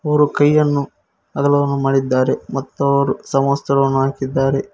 ಮೂರು ಕೈಯನ್ನು ಅಗಲವನ್ನು ಮಾಡಿದ್ದಾರೆ ಮತ್ತವರು ಸಮವಸ್ತ್ರನು ಹಾಕಿದ್ದಾರೆ.